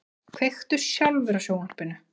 Kveiktu sjálfur á sjónvarpinu.